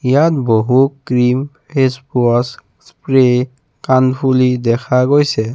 ইয়াত বহু cream face স্প্ৰে কানফুলি দেখা গৈছে।